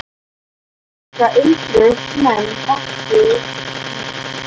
En það undruðust menn er ekki blæddi líkamanum.